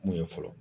Mun ye fɔlɔ